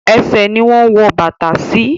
Ẹṣẹ̀ ni wọ́n ń wọ bàtà sí.